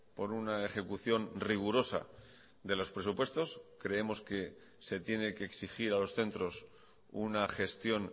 por una ejecución rigurosa de los presupuestos creemos que se tiene que exigir a los centros una gestión